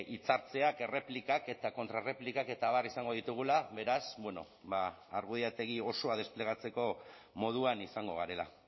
hitzaldia erreplikak eta kontrarreplikak eta abar izango ditugula beraz bueno ba argudiategi osoa desplegatzeko moduan izango garela